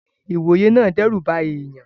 Ìwòye náà n dẹ́rùba èèyàn